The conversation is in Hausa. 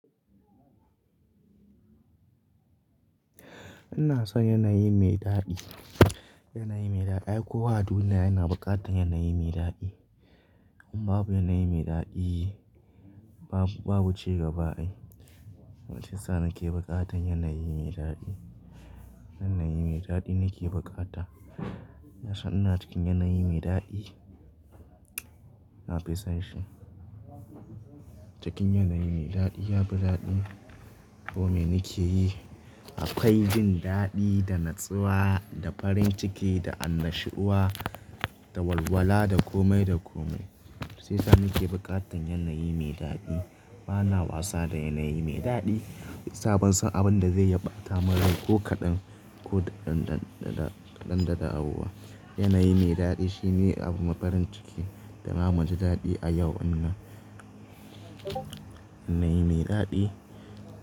Ina son yanayi mai daɗi, yanayi mai daɗi. Ai kowa a duniya yana buƙatan yanayi mai daɗi. In babu yanayi mai daɗi, babu, babu ci gaba ai. Kuma shi yasa nake buƙatar yanayi mai daɗi. Yanayi mai daɗi nake buƙata. Ina son ina cikin yanayi mai daɗi. Na fi son shi. Cikin yanayi mai daɗi yafi daɗi. Komai nake yi akwai jin daɗi, da natsuwa, da farin ciki, da annashuwa, da walwala da komai da komai. Sai sa nake buƙatan yanayi mai daɗi. Bana wasa da yanayi mai daɗi. Sa ban son abin da zai iya ɓata min rai ko kaɗan, ko daɗan daɗaɗa, kaɗan da dawowa Yanayi mai daɗi shine abu mai farin ciki, da na muji daɗi a yau innan. Yanayi mai daɗi.